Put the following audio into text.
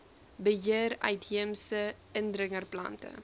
beheer uitheemse indringerplante